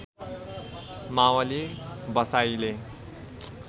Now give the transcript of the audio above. Mavli बसाइले